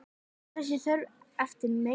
Þessi þörf eftir meiri hönnun.